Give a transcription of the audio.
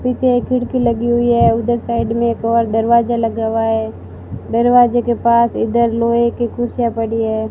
पिछे एक खिड़की लगी हुई है उधर साइड में एक और दरवाजा लगा हुआ है दरवाजे के पास इधर लोहे की कुर्सियां पड़ी है।